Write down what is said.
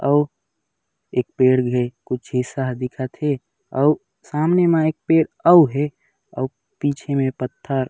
अऊ एक पेड़ भी कुछ ऐसा दिखत हे अऊ सामने म एक पेड़ अऊ हे अऊ पीछे मे पत्थर--